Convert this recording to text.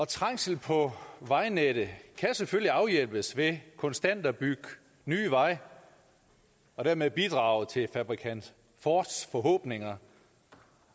trængsel på vejnettet kan selvfølgelig afhjælpes ved konstant at bygge nye veje og dermed bidrage til fabrikant fords forhåbninger